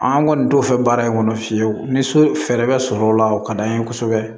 An kɔni t'o fɛ baara in kɔnɔ fiyewu ni fɛɛrɛ bɛ sɔrɔ o la o ka d'an ye kosɛbɛ